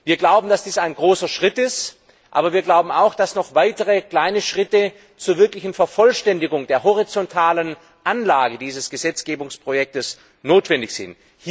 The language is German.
Wir glauben, dass dies ein großer Schritt ist, aber wir glauben auch, dass noch weitere kleine Schritte zur wirklichen Vervollständigung der horizontalen Anlage dieses Gesetzgebungsprojekts notwendig sind.